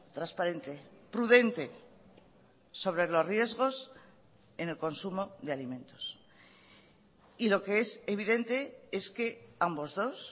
transparente prudente sobre los riesgos en el consumo de alimentos y lo que es evidente es que ambos dos